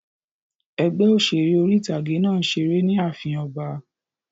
Ẹgbẹ́ òṣèré orí-ìtágé náà n ṣeré ni ààfin ọba